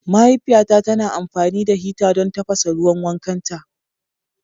Mahaifiyata tana amfani da hita don tafasa ruwan wankanta.